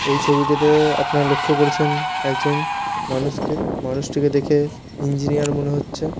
এই ছবিটাতে-এ আপনারা লক্ষ্য করছেন একজন মানুষকে মানুষটিকে দেখে ইঞ্জিনিয়ার মনে হচ্ছে।